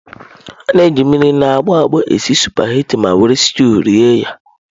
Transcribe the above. A na-eji mmiri na agbọ agbo esi sụpaghetị ma were steụụ rie ya.